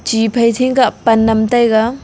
chi phai chingkhah panam taiga.